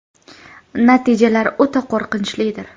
Natijalar o‘ta qo‘rqinchlidir.